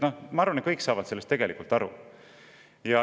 Ma arvan, et kõik saavad sellest tegelikult aru.